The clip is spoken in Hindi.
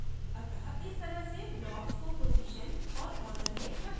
अत: इस तरह से blocks को position और order में रखते हैं